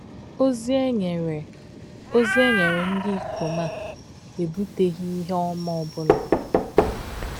Ozi e nyere Ozi e nyere ndị ikom um a ebuteghị ihe um ọma ọ um bụla.